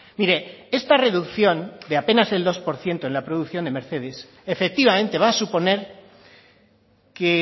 mire esta reducción de apenas el dos por ciento en la producción de mercedes efectivamente va a suponer que